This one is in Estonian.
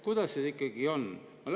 Kuidas siis ikkagi on?